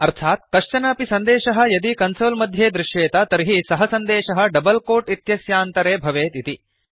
अर्थात् कश्चन अपि सन्देशः यदि कन्सोल् मध्ये दृश्येत तर्हि सह सन्देशः डबल् कोट् इत्यस्यान्तरे भवेत् इति